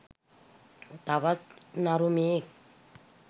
තවත් නරුමයෙක්